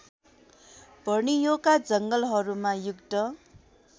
बर्नियोका जङ्गलहरूमा युद्ध